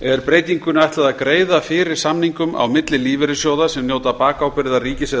er breytingunni ætlað að greiða fyrir samningum á milli lífeyrissjóða sem njóta bakábyrgðar ríkis eða